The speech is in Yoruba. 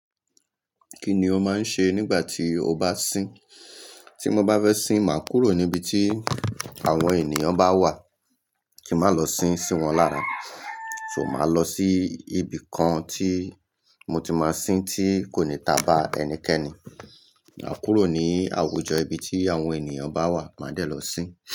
Kí ni o máa ń ṣe nígbà tí o bá sín? Tí mo bá fẹ́ sín, màá kúrò níbi tí àwọn ènìyàn bá wà. Kí n mà lọ sín sí wọn lára, so màá lọ sí ibi kan tí mo ti máa sín tí kò ní ta bá ẹnikẹ́ni. Màá kúrò ní àwùjọ ibi tí àwọn ènìyàn bá wà, màá dẹ̀ lọ sín.